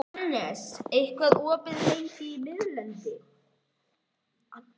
Annes, hvað er opið lengi í Miðeind?